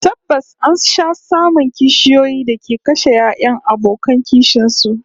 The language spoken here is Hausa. Tabbas an sha samun kishiyoyi da ke kashe 'ya'yan abokan kishin su